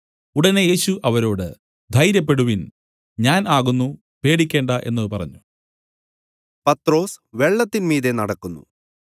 ഉടനെ യേശു അവരോട് ധൈര്യപ്പെടുവിൻ ഞാൻ ആകുന്നു പേടിക്കേണ്ടാ എന്നു പറഞ്ഞു